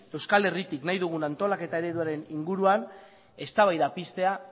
euskal herritik nahi dugun antolaketa ereduaren inguruan eztabaida piztea